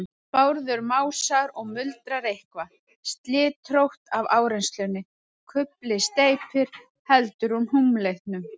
Bárður másar og muldrar eitthvað, slitrótt af áreynslunni. kufli steypir. heldur húmleitum.